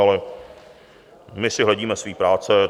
Ale my si hledíme své práce.